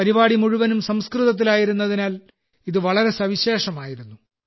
പരിപാടി മുഴുവനും സംസ്കൃതത്തിലായിരുന്നതിനാൽ ഇത് വളരെ സവിശേഷമായിരുന്നു